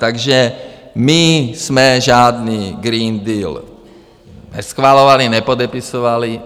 Takže my jsme žádný Green Deal neschvalovali, nepodepisovali.